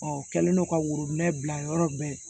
Ɔ u kɛlen don ka worobinɛ bila yɔrɔ bɛɛ